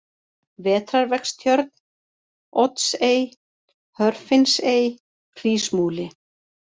Vetrarvegstjörn, Oddsey, Hörfinnsey, Hrísmúli